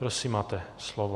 Prosím, máte slovo.